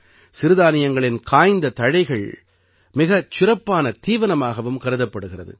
சிறுதானியங்களின் காய்ந்த தழைகள் மிகச் சிறப்பான தீவனமாகவும் கருதப்படுகிறது